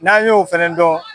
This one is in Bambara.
N'an y'o fɛnɛn dɔn